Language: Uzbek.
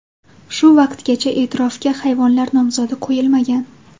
Shu vaqtgacha e’tirofga hayvonlar nomzodi qo‘yilmagan.